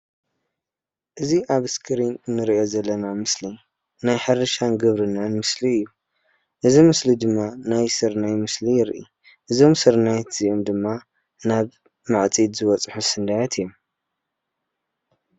እዚ አብ እስክሪን እንሪኦ ዘለና ምስሊ ናይ ሕርሻን ግብርናን ምስሊ እዩ። እዚ ምስሊ ድማ ናይ ስርናይ ምስሊ የርኢ። እዞም ስርናያት ድማ ናብ ዓፂድ ዝበፅሑ ስንዳያት እዮም።